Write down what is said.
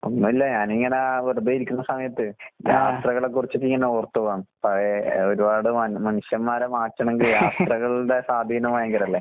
ഒന്നൂല്ല ഞാനിങ്ങനാ വെറുതെ ഇരിക്കുന്ന സമയത്ത് യാത്രകളെക്കുറിച്ചിട്ടിങ്ങനെ ഓർത്ത് പോകാണ്. പഴയ എഹ് ഒരുപാട് മന് മനുഷ്യന്മാരെ മാറ്റണെങ്കി യാത്രകളുടെ സ്വാധീനം ഭയങ്കരല്ലേ?